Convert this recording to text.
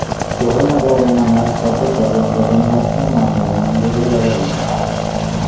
ઢોલ નગારાના નાદ સાથે ભગવાન જગન્નાથનું મામેરુ મંદિરે લવાયુ